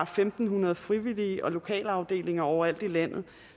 fem hundrede frivillige og lokalafdelinger overalt i landet